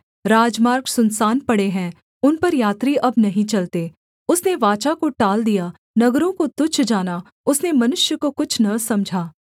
राजमार्ग सुनसान पड़े हैं उन पर यात्री अब नहीं चलते उसने वाचा को टाल दिया नगरों को तुच्छ जाना उसने मनुष्य को कुछ न समझा